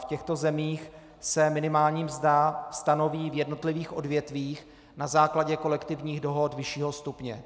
V těchto zemích se minimální mzda stanoví v jednotlivých odvětvích na základě kolektivních dohod vyššího stupně.